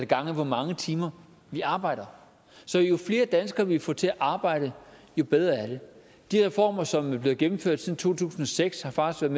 gange hvor mange timer vi arbejder så jo flere danskere vi får til at arbejde jo bedre er det de reformer som er blevet gennemført siden to tusind og seks har faktisk